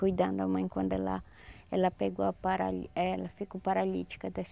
Cuidando a mãe quando ela ela pegou a parali ela ficou paralítica das